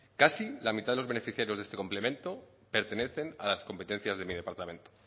casi la mitad de los beneficiarios de este complemento pertenecen a las competencias de mi departamento